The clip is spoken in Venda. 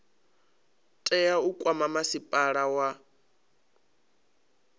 tea u kwama masipala wa